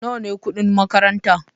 Nawa ne kudin makaranta?